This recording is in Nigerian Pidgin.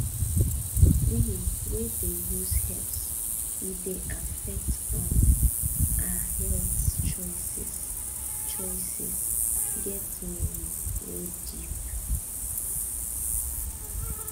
we wey dey use herbs e dey affect um our health choices choices get meaning wey deep